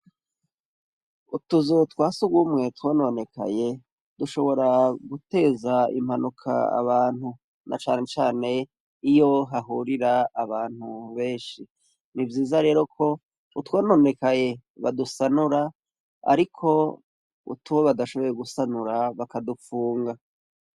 Utuzu twa surwumwe twononekaye dushobora guteza impanuka abantu na cane cane iyo hahurira abantu benshi. Ni vyiza ko utwononekaye badusanura , ariko utwo badashoboye gusanura bakadufunga.